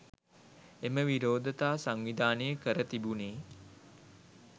එම විරෝධතා සංවිධානය කර තිබුණේ